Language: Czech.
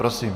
Prosím.